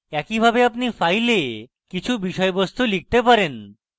একইভাবে আপনি file কিছু বিষয়বস্তু লিখতে পারেন